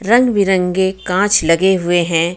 रंग बिरंगे काच लगे हुए हे.